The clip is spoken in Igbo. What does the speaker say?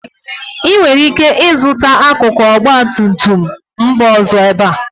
ị nwere ike ịzụta akụkụ ọgba tum tum mba ọzọ ebe a